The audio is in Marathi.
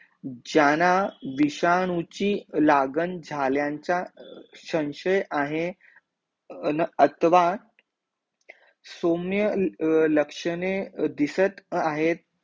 ज्याना विषाणूची लागन झाल्यांचा संशय आहे, न अथवा, सौम्य लक्षणे दिसत आहेत